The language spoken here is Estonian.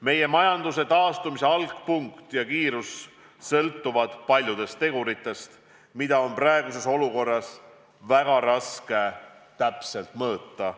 Meie majanduse taastumise algpunkt ja kiirus sõltuvad paljudest teguritest, mida on praeguses olukorras väga raske täpselt mõõta.